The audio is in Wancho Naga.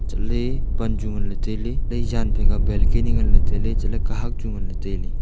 untohley pan chu nganley tailey e jan phaika balkani nganley tailey chatley kahak chu nganley tailey.